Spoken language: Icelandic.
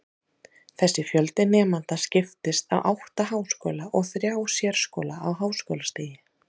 Þessi fjöldi nemenda skiptist á átta háskóla og þrjá sérskóla á háskólastigi.